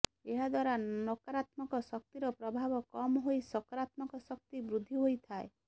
ଏହାଦ୍ବାରା ନକରାତ୍ମକ ଶକ୍ତିର ପ୍ରଭାବ କମ ହୋଇ ସକାରାତ୍ମକ ଶକ୍ତି ବୃଦ୍ଧି ହୋଇଥାଏ